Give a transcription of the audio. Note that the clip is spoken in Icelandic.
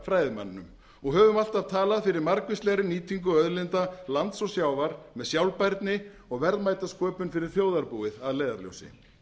fræðimanninum og höfum alltaf talað fyrir margvíslegri nýtingu auðlinda lands og sjávar með sjálfbærni og verðmætasköpun fyrir þjóðarbúið að leiðarljósi